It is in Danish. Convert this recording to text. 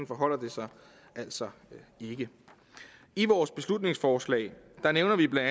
forholder det sig altså ikke i vores beslutningsforslag nævner vi bla at